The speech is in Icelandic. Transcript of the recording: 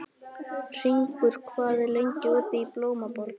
Hringur, hvað er lengi opið í Blómaborg?